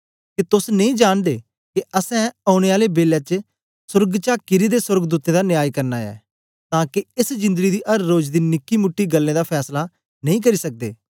के तोस नेई जांनदे के असैं औने आले बेलै च सोर्ग चा किरे दे सोर्गदूतें दा न्याय करना ऐ तां के एस जिंदड़ी दी अर रोज दी निकीमूटी गल्लें दा फैसला नेई करी सकदे